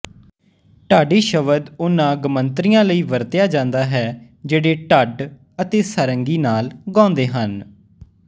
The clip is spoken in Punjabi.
ਢਾਡੀ ਸ਼ਬਦ ਉਹਨਾਂ ਗਮੰਤਰੀਆਂ ਲਈ ਵਰਤਿਆ ਜਾਂਦਾ ਹੈ ਜਿਹੜੇ ਢੱਡ ਅਤੇ ਸਾਰੰਗੀ ਨਾਲ ਗਾਉਂਦੇ ਹਨ